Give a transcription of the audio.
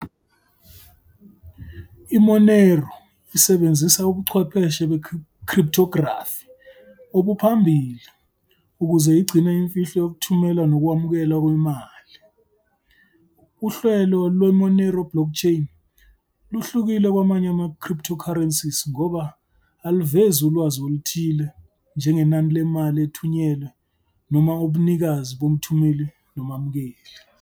I-Monero isebenzisa ubuchwepheshe be-cryptography obuphambili ukuze igcine imfihlo yokuthumela nokwamukela imali. Uhlelo lwe-Monero blockchain luhlukile kwamanye ama-cryptocurrencies ngoba aluvezi ulwazi oluthile njengenani lemali ethunyelwe noma ubunikazi bomthumeli nomamukeli.